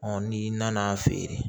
n'i nana feere